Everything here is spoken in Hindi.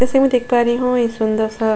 जैसे मैं देख पा रही हूं ये सुंदर सा --